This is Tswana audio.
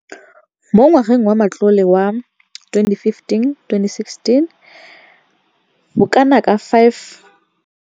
Mo ngwageng wa matlole wa 2015,16, bokanaka R5 703 bilione e ne ya abelwa lenaane leno.